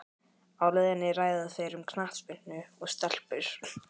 Á leiðinni ræða þeir um knattspyrnu og stelpur.